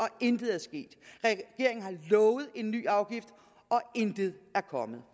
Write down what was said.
intet er sket regeringen har lovet en ny afgift og intet er kommet